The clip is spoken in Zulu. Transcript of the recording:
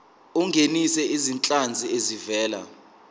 ungenise izinhlanzi ezivela